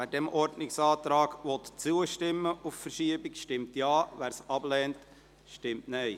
Wer diesem Ordnungsantrag auf Verschiebung zustimmen will, stimmt Ja, wer dies ablehnt, stimmt Nein.